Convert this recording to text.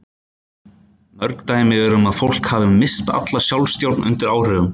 Mörg dæmi eru um að fólk hafi misst alla sjálfstjórn undir áhrifum.